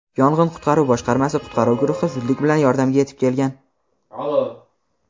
yong‘in-qutqaruv boshqarmasi qutqaruv guruhi zudlik bilan yordamga yetib kelgan.